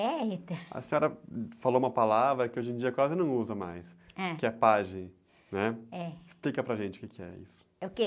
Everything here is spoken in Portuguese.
É, então, a senhora falou uma palavra que hoje em dia quase não usa mais.h.ue é pajem, né?.Explica para gente o que é isso é o que? o quê?